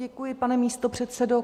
Děkuji, pane místopředsedo.